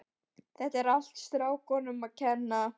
Þetta er allt strákunum að kenna.